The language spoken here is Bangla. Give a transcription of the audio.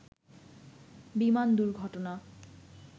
বিমান দুর্ঘটনা